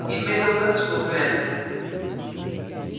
इनमें local scope हैं